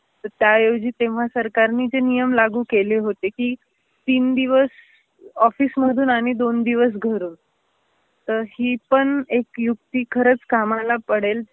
तर त्यावेळी तेव्हा सरकारने जे नियम लागु केले होते की, तीन दिवस ऑफिस मधून आणि दोन दिवस घरून. तर ही पण एक युक्ती खरच कामाला पडेल